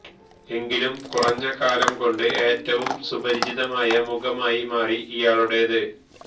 എങ്കിലും കുറഞ്ഞ കാലം കൊണ്ട് ഏറ്റവും സുപരിചിതമായ മുഖമായി മാറി ഇയാളുടേത്